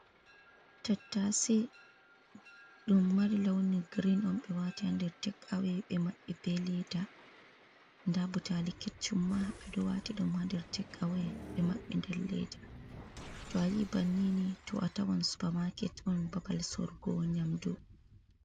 tattase dum mari launi green on be wati handir tek’awe be mabbe be leda. Nda butali keccumma ɓeɗo wati dum hander tek’awe ɓe maɓɓe nder leda. To ayi bannini to a tawan supa maket on babal sorgo nyamdu.